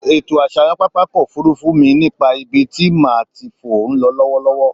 Ètò àṣàyàn pápákọ̀-òfurufú mi nípa ibi tí màá ti fò ń lọ lọ́wọ́lọ́wọ́.